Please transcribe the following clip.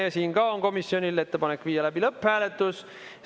Ka siin on komisjonil ettepanek viia läbi lõpphääletus.